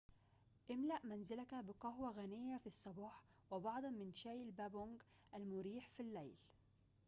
املأ منزلك بقهوة غنية في الصباح وبعضاً من شاي البابونج المريح في الليل